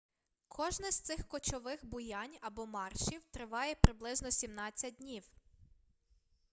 кожне з цих кочових буянь або маршів триває приблизно 17 днів